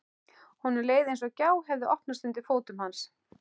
Honum leið eins og gjá hefði opnast undir fótum hans.